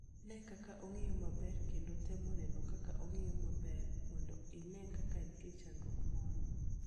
Ne kaka ong'iyo maber, kendo tem neno ka ong'iyo maber, mondo ine ka nitie chandruok moro.